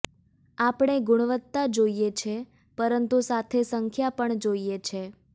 આપણે ગુણવતા જોઈએ છે પરંતુ સાથે સંખ્યા પણ જોઈએ છે